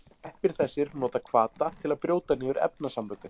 Sveppir þessir nota hvata til að brjóta niður efnasamböndin.